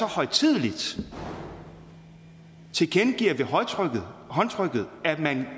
højtideligt tilkendegiver ved håndtrykket håndtrykket at man